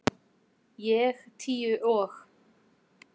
Ég tíu og